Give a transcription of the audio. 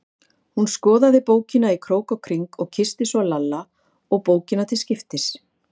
Hún skoðaði bókina í krók og kring og kyssti svo Lalla og bókina til skiptis.